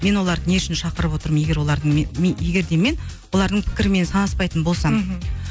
мен оларды не үшін шақырып отырмын егер олардың мен егер де мен олардың пікірімен санаспайтын болсам мхм